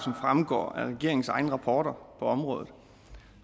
fremgår af regeringens egne rapporter på området